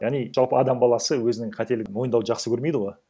яғни жалпы адам балсы өзінің қателігін мойындау жақсы көрмейді ғой